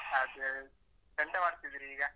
ಅದೇ ಎಂತ ಮಾಡ್ತಿದ್ದೀರಿ ಈಗ?